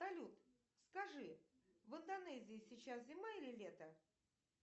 салют скажи в индонезии сейчас зима или лето